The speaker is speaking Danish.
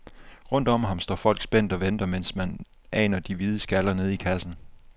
Rundt om ham står folk spændt og venter, mens man aner de hvide skaller nede i kassen.